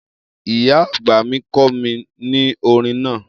Iya agba mi kọ mi ni orin naa.